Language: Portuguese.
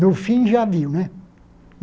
No fim, já viu, né?